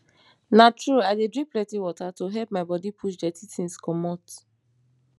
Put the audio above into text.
na true i dey drink plenty water to help my bodi push dirty tins comot